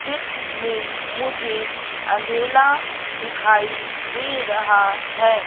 चित्र में मुझे अंधेला दिखाई दे रहा है।